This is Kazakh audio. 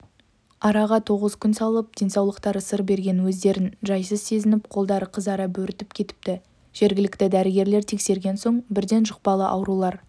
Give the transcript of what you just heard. араға тоғыз күн салып денсаулықтары сыр берген өздерін жайсыз сезініп қолдары қызара бөрітіп кетіпті жергілікті дәрігерлер тексерген соң бірден жұқпалы аурулар